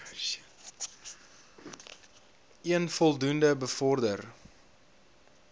een voldoende bevorder